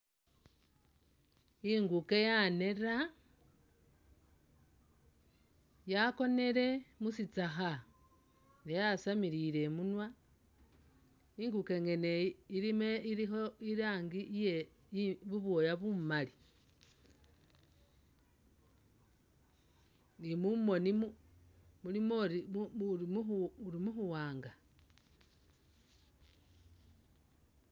Inguke yaneera yakonile musitsakha yasamilile imunwa inguke ngene iyi ilimo ilikho irangi iye bubwooya bumaali ni mumoni mulimo uri mu mu mu buwaanga